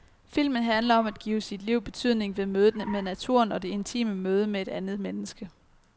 Filmen handler om at give sit liv betydning ved mødet med naturen og det intime møde med et andet menneske.